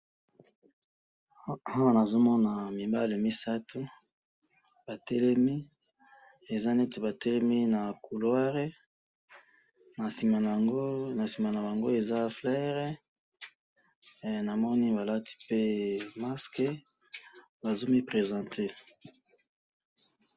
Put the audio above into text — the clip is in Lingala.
awa na zo mona mibale misatu ba telemi eza neti ba temi na couloire na sima nango eza fleur na moni ba lati pe mask bazo mi presente